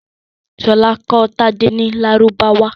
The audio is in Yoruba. Ṣọlá kọ́ Tádé ní Lárúbáwá.